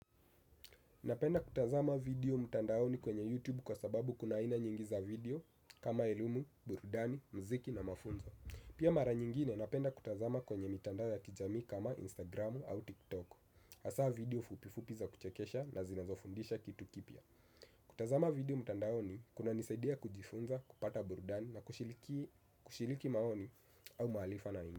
Napenda kutazama video mtandaoni kwenye YouTube kwasababu kuna aina nyingi za video kama elimu, burudani, mziki na mafunzo. Pia mara nyingine napenda kutazama kwenye mitandao ya kijamii kama Instagram au TikTok. Hasa video fupi fupi za kuchekesha na zinazofundisha kitu kipya. Kutazama video mtandaoni kunanisaidia kujifunza, kupata burudani na kushiriki maoni au maarifa na mtu.